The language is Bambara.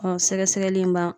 Ɔ sɛgɛsɛgɛli in b'an